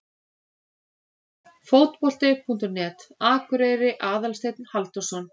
Fótbolti.net, Akureyri- Aðalsteinn Halldórsson.